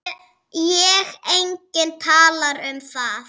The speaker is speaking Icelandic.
Og enginn talar um það!